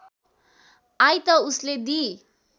I त उसले दुई